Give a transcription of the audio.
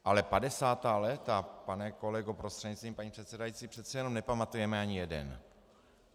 Ale padesátá léta, pane kolego prostřednictvím paní předsedající, přece jenom nepamatujeme ani jeden.